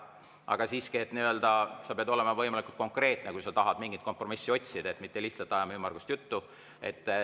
Aga siiski, sa pead olema võimalikult konkreetne, kui sa tahad mingit kompromissi otsida, ei pea lihtsalt ajama ümmargust juttu.